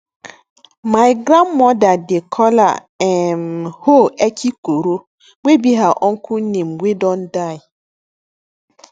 my grandmother dey call her um hoe ekikoro wey be her uncle name wey don die